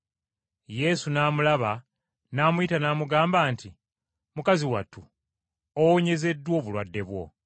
Yesu n’amulaba, n’amuyita n’amugamba nti, “Mukazi wattu, owonyezeddwa obulwadde bwo.”